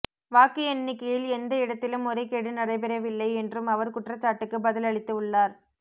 வாக்கு எண்ணிக்கையில் எந்த இடத்திலும் முறைகேடு நடைபெறவில்லை என்றும் அவர் குற்றச்சாட்டுக்கு பதில் அளித்து உள்ளார்